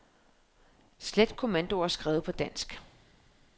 Slet kommandoer skrevet på dansk.